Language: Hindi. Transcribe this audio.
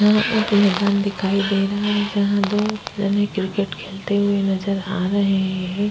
यहाँ एक मैदान दिखाई दे रहा है जहाँ दो जने क्रिकेट खेलते हुए नजर आ रहे हैं।